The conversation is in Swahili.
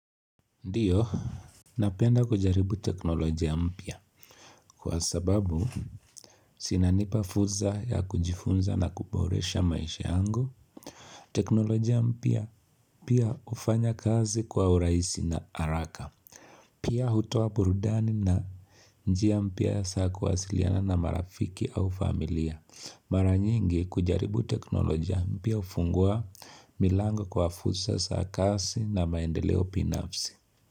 Ndiyo Napenda kujaribu teknolojia mpya Kwa sababu Sinanipa fursa ya kujifunza na kuboresha maisha yangu teknolojia mpya pia ufanya kazi kwa uraisi na haraka Pia hutowa burudani na njia mpya saa kuwasiliana na marafiki au familia Mara nyingi kujaribu teknolojia mpya ufungua milango kwa fursa za kazi na maendeleo binafsi.